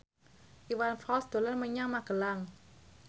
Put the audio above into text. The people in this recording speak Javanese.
Iwan Fals dolan menyang Magelang